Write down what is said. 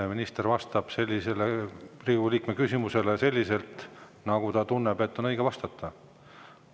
Minister vastab sellisele Riigikogu liikme küsimusele selliselt, nagu ta tunneb, et on õige vastata.